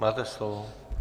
Máte slovo.